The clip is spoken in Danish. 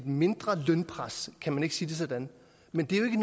mindre lønpres kan man ikke sige det sådan men det er